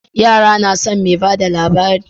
Ya nason me bada labari